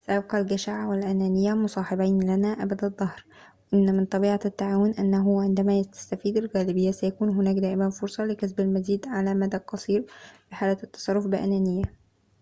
سيبقى الجشع والأنانية مصاحبين لنا أبد الدهر، إن من طبيعة التعاون أنه عندما تستفيد الغالبية، سيكون هناك دائماً فرصة لكسب المزيد على المدى القصير في حال التصرف بأنانية